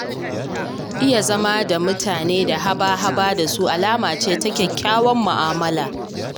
Iya zama da mutane da haba-haba da su, alama ce ta kyakkyawar mu'amulla.